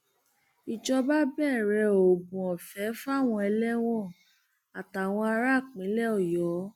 ìjọba bẹrẹ oògùn ọfẹ fáwọn ẹlẹwọn àtàwọn ará ìpínlẹ ọyọ